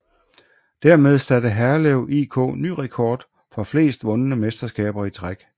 Dermed satte Herlev IK ny rekord for flest vundne mesterskaber i træk